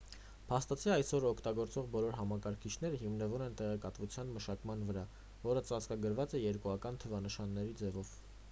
փաստացի այսօր օգտագործվող բոլոր համակարգիչները հիմնվում են տեղեկատվության մշակման վրա որը ծածկագրված է երկուական թվանշանների ձևով